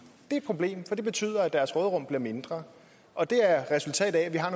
er et problem for det betyder at deres råderum bliver mindre og det er et resultat af at vi har